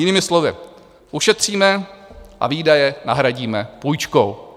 Jinými slovy, ušetříme a výdaje nahradíme půjčkou.